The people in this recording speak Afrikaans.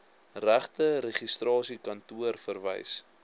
regte registrasiekantoor verwys